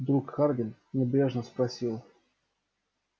вдруг хардин небрежно спросил